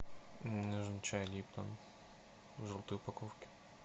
мне нужен чай липтон в желтой упаковке